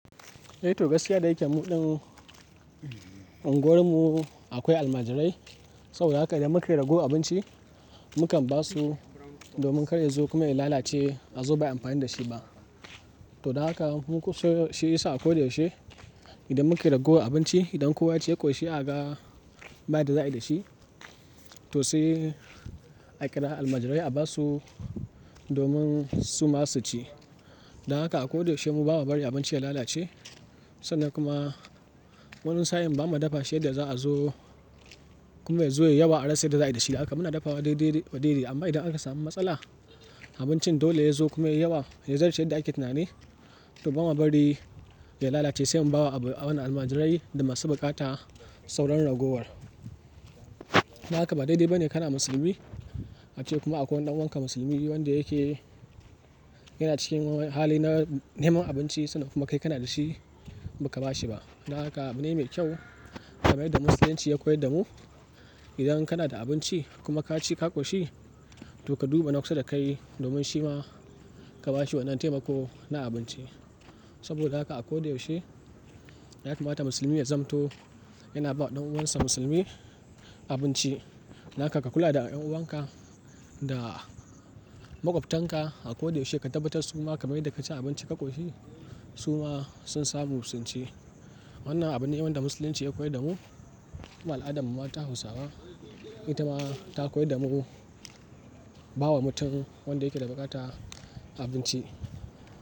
Eh to gaskiya da yake muɗin unguwar mu akwai almajirai. Saboda haka idan mukai raguwa abinci mukan ba su domin karya zai zo kuma ya lalace a zo baayi amfani da shi ba. To don haka muku sai shi yasa a ko da yaushe idan mukai ragowar abinci, idan kowa ya ci ya ƙoshi a ka ga ba yanda za'ai da shi, to sai a kira almajirai a ba su domin su ma su ci. Don haka a ko da yaushe mu bama bari abinci ya lalace. Sannan kuma wani sa'in ba mu dafa sai da za'a zo kuma ya zo yayi yawa a rasa yanda za'a yi da shi. Haka muna dafawa daidai daidai. Amma idan aka sami matsala, abincin dole yazo kuma ya yawa, ya zarce yadda yake tunani, to ba ma bari ya lalace sai mu bawa abin wannan almajirai da masu buƙata sauran ragowar. Don haka ba daidai ba ne kana musulmi ace kuma akwai wani ɗan uwanka musulmi wanda yake yana cikin halin neman abinci sannan kuma kai kana da shi ba ka ba shi ba. Don haka abune mai kyau kamar yadda Musulunci ya koyar da mu, idan kana da abinci kuma ka ci ka ƙoshi to ka duba nawa kusa da kai domin shi ma ka ba shi wannan taimako na abinci. Saboda haka a ko da yaushe ya kamata musulmi ya zamto yana bawa ɗan uwansa musulmi abinci. Don haka ka kula da dan uwanka da maƙwabtanka a ko da yaushe ka tabbatar su ma kamar yadda ka ci abinci ka ƙoshi su ma sun samu sun ci. Wannan abu ne wanda Musulunci ya koyar da mu kuma al'adarmu ta Hausawa ita ma ta koyar da mu bawa mutum wanda yake da buƙata abinci.